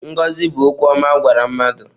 Ngọzi bụ okwu ọma a gwara mmadụ.